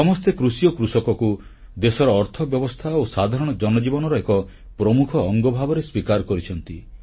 ସମସ୍ତେ କୃଷି ଓ କୃଷକକୁ ଦେଶର ଅର୍ଥବ୍ୟବସ୍ଥା ଓ ସାଧାରଣ ଜନଜୀବନର ଏକ ପ୍ରମୁଖ ଅଙ୍ଗ ଭାବେ ସ୍ୱୀକାର କରିଛନ୍ତି